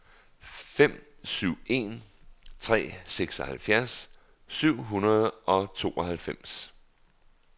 fem syv en tre seksoghalvfjerds syv hundrede og tooghalvfems